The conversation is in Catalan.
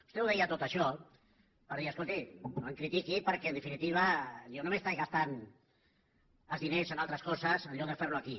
vostè ho deia tot això per dir escolti no em critiqui perquè en definitiva jo no m’he estat gastant els diners en altres coses en lloc de fer ho aquí